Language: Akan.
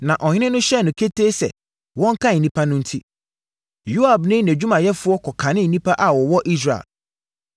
Na ɔhene no hyɛɛ no ketee sɛ, wɔnkan nnipa enti, Yoab ne nʼadwumayɛfoɔ kɔkanee nnipa a wɔwɔ Israel.